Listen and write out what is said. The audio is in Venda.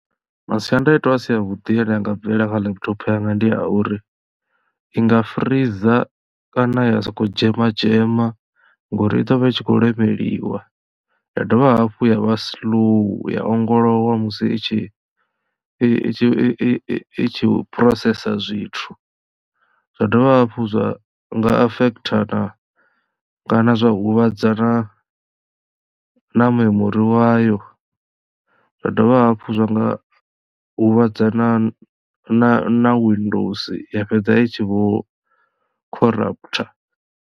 Masiandaitwa a si a vhuḓi ane anga bvelela kha laptop yanga ndi a uri i nga freezor kana ya soko dzhema dzhema ngori i ḓovha i tshi kho lemeliwa ya dovha hafhu ya vha slow ya ongolowa musi i tshi i tshi i tshi phurosesa zwithu zwa dovha hafhu zwa nga affect na kana zwa huvhadza na memori wayo zwa dovha hafhu zwa nga huvhadza na na na windows ya fhedza itshi vho khoraphutha.